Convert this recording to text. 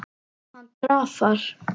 Hann drafar.